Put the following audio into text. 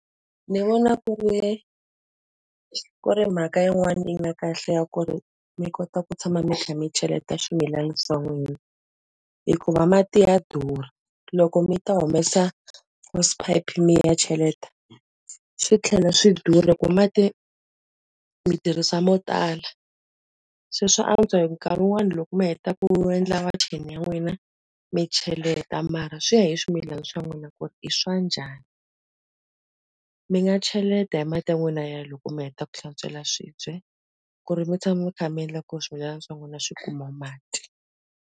Ni vona ku ri, ku ri mhaka yin'wani ya kahle ya ku ri mi kota ku tshama mi kha mi cheleta swimilana swa n'wina. Hikuva mati ya durha. Loko mi ta humesa hose pipe mi ya cheleta, swi tlhela swi durha ku mati mi tirhisa mo tala. Se swa antswa hi nkarhi wun'wani loko mi heta ku endla wacheni ya n'wina, mi cheleta mara swi ya hi swimilana swa n'wina ku ri i swa ya njhani. Mi nga cheleta hi mati ya n'wina ya loko mi heta ku hlantswela swibye, ku ri mi tshama mi kha mi endla ku ri swimilana swa n'wina swi kuma mati.